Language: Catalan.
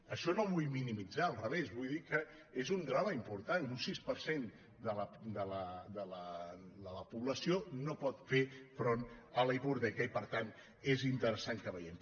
ai·xò no ho vull minimitzar al revés vull dir que és un drama important un sis per cent de la població no pot fer front a la hipoteca i per tant és interessant que ho veiem